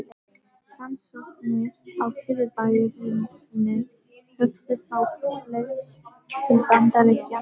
Rannsóknir á fyrirbærinu höfðu þá flust til Bandaríkjanna.